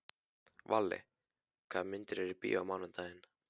Valli, hvaða myndir eru í bíó á mánudaginn?